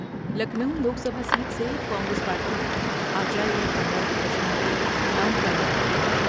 Lucknow Lok Sabha seat سے Congress party نے آچاریہ پرمود کرشنم کے نام کا اعلان کیا ہے ۔